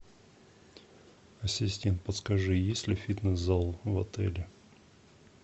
ассистент подскажи есть ли фитнес зал в отеле